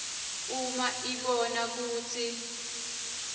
uma ibona kutsi